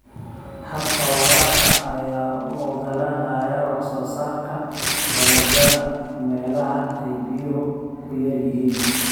Habka waraabka ayaa u ogolaanaya wax soo saarka dalagyada meelaha ay biyuhu ku yar yihiin.